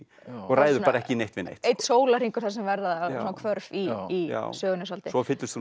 ræður ekki neitt við neitt einn sólarhringur þar sem verða svona hvörf í sögunni svolítið svo fyllist hún